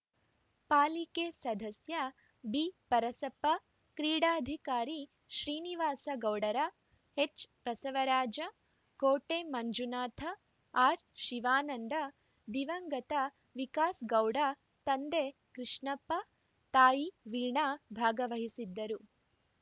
ಪಾಲಿಕೆ ಸದಸ್ಯ ಬಿಪರಸಪ್ಪ ಕ್ರೀಡಾಧಿಕಾರಿ ಶ್ರೀನಿವಾಸ ಗೌಡರ ಎಚ್‌ಬಸವರಾಜ ಕೋಟೆ ಮಂಜುನಾಥ ಆರ್‌ಶಿವಾನಂದ ದಿವಂಗತ ವಿಕಾಸ ಗೌಡ ತಂದೆ ಕೃಷ್ಣಪ್ಪ ತಾಯಿ ವೀಣಾ ಭಾಗವಹಿಸಿದ್ದರು